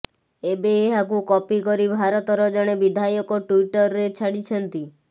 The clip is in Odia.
ଏବେ ଏହାକୁ କପି କରି ଭାରତର ଜଣେ ବିଧାୟକ ଟ୍ୱିଟରରେ ଛାଡ଼ିଛନ୍ତି